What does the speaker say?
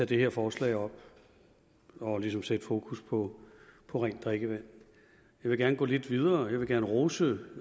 det her forslag og ligesom sætte fokus på på rent drikkevand jeg vil gerne gå lidt videre jeg vil gerne rose